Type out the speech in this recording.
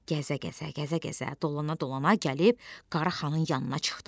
Gəzə-gəzə, gəzə-gəzə, dolana-dolana gəlib Qaraxanın yanına çıxdı.